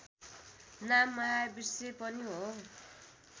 नाम महावृक्ष पनि हो